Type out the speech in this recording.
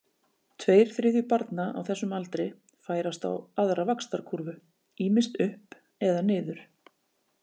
Tveir þriðju barna á þessum aldri færast á aðra vaxtarkúrfu, ýmist upp eða niður.